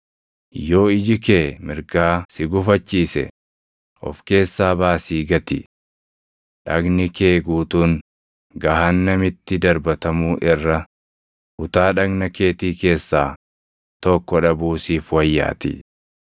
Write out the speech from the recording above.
Yoo iji kee mirgaa si gufachiise, of keessaa baasii gati. Dhagni kee guutuun gahaannamitti darbatamuu irra, kutaa dhagna keetii keessaa tokko dhabuu siif wayyaatii.